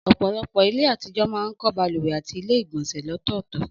Ọ̀pọ̀lọpọ̀ ilé àtijọ́ máa ń kọ́ balùwẹ̀ àti ilé ìgbọ̀nsẹ̀ lọ́tọ̀ọ̀tọ̀